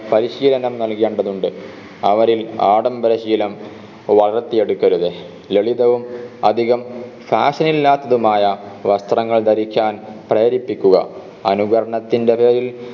പരിശീലനം നൽകേണ്ടതുണ്ട് അവരിൽ ആഡംബരശീലം വളർത്തിയെടുക്കരുത് ലളിതവും അധികം fashion ഇല്ലാത്തതുമായ വസ്ത്രങ്ങൾ ധരിക്കാൻ പ്രേരിപ്പിക്കുക അനുകരണത്തിൻറെ പേരിൽ